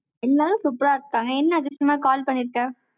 எல்லாரும் super ஆ இருக்காங்க, என்ன அதிசயமா call பண்ணிருக்க.